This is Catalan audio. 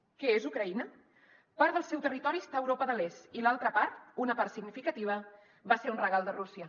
què és ucraïna part del seu territori està a europa de l’est i l’altra part una part significativa va ser un regal de rússia